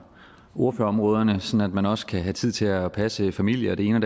ordførerområderne så man også kan have tid til at passe familie og det ene